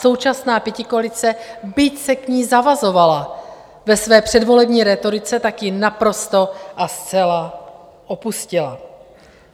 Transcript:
Současná pětikoalice, byť se k ní zavazovala ve své předvolební rétorice, tak ji naprosto a zcela opustila.